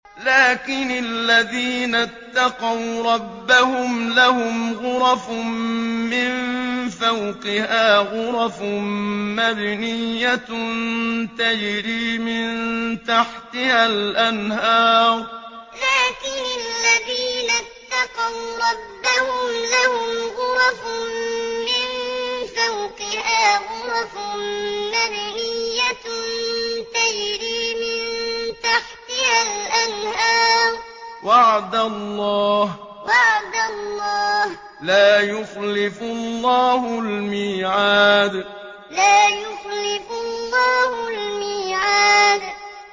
لَٰكِنِ الَّذِينَ اتَّقَوْا رَبَّهُمْ لَهُمْ غُرَفٌ مِّن فَوْقِهَا غُرَفٌ مَّبْنِيَّةٌ تَجْرِي مِن تَحْتِهَا الْأَنْهَارُ ۖ وَعْدَ اللَّهِ ۖ لَا يُخْلِفُ اللَّهُ الْمِيعَادَ لَٰكِنِ الَّذِينَ اتَّقَوْا رَبَّهُمْ لَهُمْ غُرَفٌ مِّن فَوْقِهَا غُرَفٌ مَّبْنِيَّةٌ تَجْرِي مِن تَحْتِهَا الْأَنْهَارُ ۖ وَعْدَ اللَّهِ ۖ لَا يُخْلِفُ اللَّهُ الْمِيعَادَ